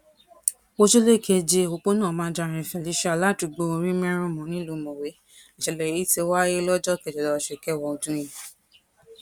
ojúlé keje òpópónà mandarin felicia ládùúgbò orímẹrùnmù nílùú mọwé nìṣẹlẹ yìí ti wáyé lọjọ kejìlá oṣù kẹwàá ọdún yìí